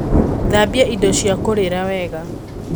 Thambia indo cia kũrĩra wega